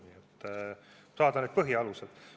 Siis saadakse need põhialused.